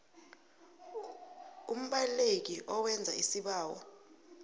umbaleki owenza isibawo